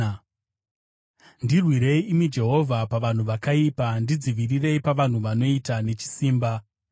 Ndirwirei, imi Jehovha, pavanhu vakaipa; ndidzivirirei pavanhu vanoita nechisimba.